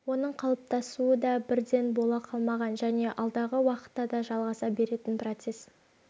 оның қалыптасуы да бірден бола қалмаған және алдағы уақытта да жалғаса беретін процесс